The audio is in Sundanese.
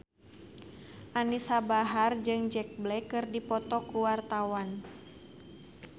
Anisa Bahar jeung Jack Black keur dipoto ku wartawan